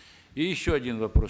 и еще один вопрос